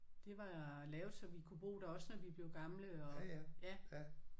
Det var lavet så vi kunne bo der også når vi blev gamle og ja